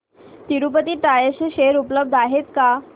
Tirupati tyres चे share उपलब्ध आहेत का